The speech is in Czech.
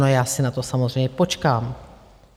No, já si na to samozřejmě počkám.